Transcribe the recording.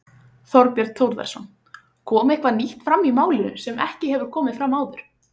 Þorbjörn Þórðarson: Kom eitthvað nýtt fram í málinu sem ekki hefur komið fram áður?